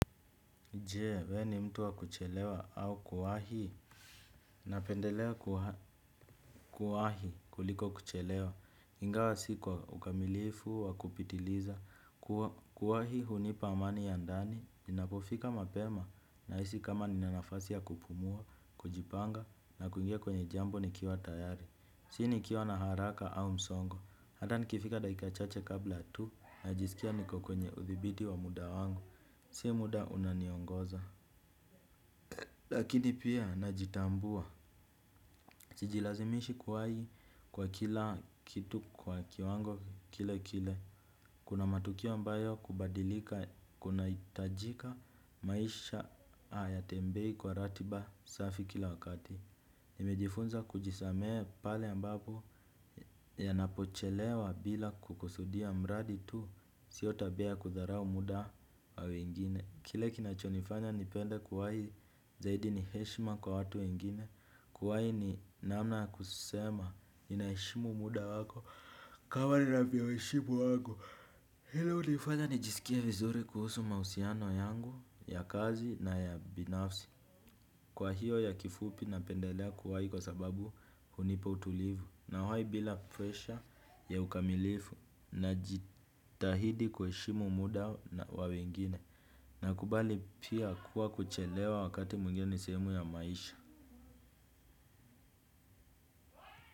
Jee, we ni mtu wa kuchelewa au kuwahii. Napendelea kuwa kuwahi kuliko kuchelewa. Ingawa sikwa ukamilifu wa kupitiliza. Kuwahi hunipa amani ya ndani. Ninapofika mapema na hisi kama ninanafasi ya kupumua, kujipanga na kuingia kwenye jambo ni kiwa tayari. Sini kiwa na haraka au msongo. Hata nikifika dakikachache kabla tu. Najisikia niko kwenye uthibiti wa muda wangu. Si muda unaniongoza. Lakini pia najitambua, sijilazimishi kuwahi kwa kila kitu kwa kiwango kile kile. Kuna matukio ambayo kubadilika kuna itajika maisha haya tembei kwa ratiba safi kila wakati. Nimejifunza kujisamehe pale ambapo ya napochelewa bila kukusudia mradi tu sio tabia kutharau muda wa wengine. Kile kinachonifanya nipende kuwahi zaidi niheshima kwa watu wengine, kuwai ni namna ya kusema ninaheshimu muda wako kama ninavyoheshimu wangu. Hilo unifanya nijisikia vizuri kuhusu mahusiano yangu ya kazi na ya binafsi. Kwa hiyo ya kifupi napendelea kuwai kwa sababu hunipa utulivu nawai bila presha ya ukamilifu na jitahidi kuheshimu muda wa wengine. Na kubali pia kuwa kuchelewa wakati mwingine ni sehemu ya maisha.